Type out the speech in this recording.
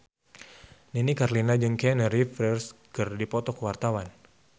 Nini Carlina jeung Keanu Reeves keur dipoto ku wartawan